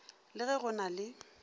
le ge go na le